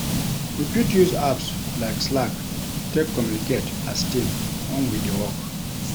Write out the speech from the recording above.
We fit use apps like slack take communicate as team when we dey work